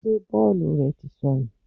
Ṣé bọ́ọ̀lù rẹ tí sọnù?